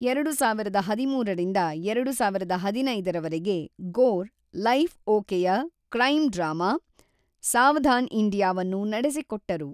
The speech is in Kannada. ಎರಡು ಸಾವಿರದ ಹದಿಮೂರರಿಂದ ಎರಡು ಸಾವಿರದ ಹದಿನೈದರವರೆಗೆ, ಗೋರ್ ಲೈಫ್ ಓಕೆಯ ಕ್ರೈಂ ಡ್ರಾಮಾ ಸಾವಧಾನ್ ಇಂಡಿಯಾವನ್ನು ನಡೆಸಿಕೊಟ್ಟರು.